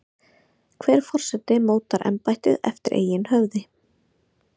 Hver forseti mótar embættið eftir eigin höfði.